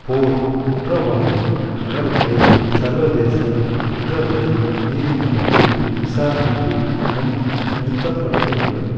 போர்க் குற்றவாளிகள் அவர்களை சர்வதேச குற்றவியல் நீதிமன்றத்தில் விசாரணைக்கு முன் நிறுத்தப்படவேண்டும்